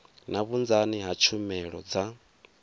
na vhunzani ha tshumelo dza